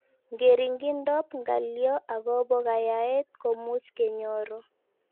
Ngeringindoop ngalyoo akopoo kanyaet komuuch kenyoro